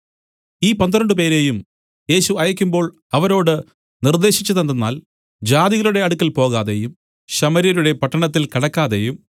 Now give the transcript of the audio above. ഈ പന്ത്രണ്ടുപേരെയും യേശു അയയ്ക്കുമ്പോൾ അവരോട് നിർദ്ദേശിച്ചതെന്തെന്നാൽ ജാതികളുടെ അടുക്കൽ പോകാതെയും ശമര്യരുടെ പട്ടണത്തിൽ കടക്കാതെയും